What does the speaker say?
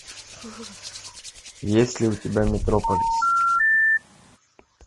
есть ли у тебя метрополис